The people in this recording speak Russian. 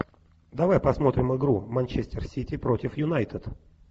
давай посмотрим игру манчестер сити против юнайтед